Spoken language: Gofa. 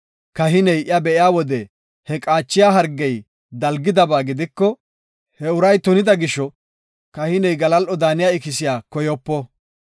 kahiney iya be7iya wode he qaachiya hargey dalgidaba gidiko, he uray tunida gisho kahiney galal7o daaniya ikisiya koyopo.